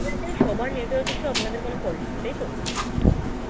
বলতে চাইছে সবার network issue আপনাদের কোনো fault নেই তাইত?